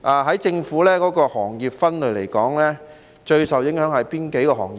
按政府的行業分類而言，最受影響的是哪些行業呢？